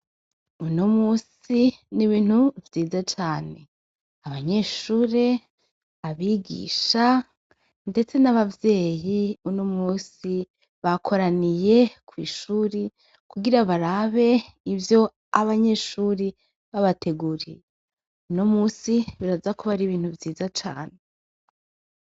Unomunsi ni ibintu vyiza cane abanyeshure abigisha ndetse n' abavyeyi unomunsi bakoraniye kwishuri kugira barabe ivyo abanyeshuri babateguriye unomunsi uraza kuba ari ibintu vyiza cane.